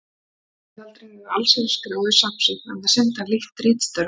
En hann gerði aldrei neina allsherjar-skrá yfir safn sitt, enda sinnti hann lítt ritstörfum.